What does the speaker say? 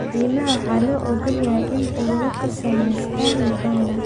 Diimaha waa loo ogol yahay inay ururo ka sameystaan Uganda.